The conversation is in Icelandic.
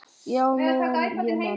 Já, meðan ég man.